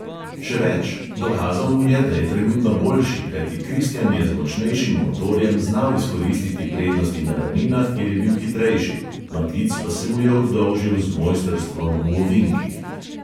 Še več, dokazal mu je, da je trenutno boljši, kajti kristjan je z močnejšim motorjem znal izkoristiti prednosti na ravninah, kjer je bil hitrejši, matic pa se mu je oddolžil z mojstrstvom v ovinkih.